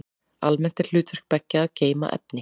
Almennt er hlutverk beggja að geyma efni.